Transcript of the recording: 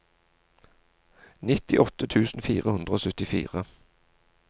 nittiåtte tusen fire hundre og syttifire